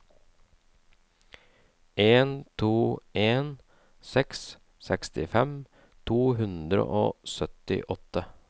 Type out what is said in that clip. en to en seks sekstifem to hundre og syttiåtte